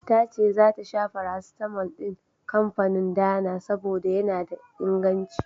Tace zata sha farasitamol din kanfanin Dana, saboda yana da inganci.